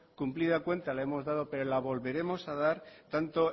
cumplida cuenta la hemos dado pero la volveremos a dar tanto